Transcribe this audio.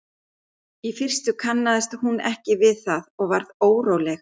Í fyrstu kannaðist hún ekki við það og varð óróleg.